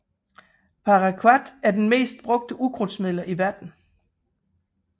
Paraquat er et af de mest brugte ukrudtsmidler i verden